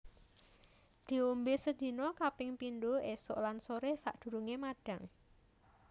Diombe sedina kaping pindho esuk lan sore sadurunge madhang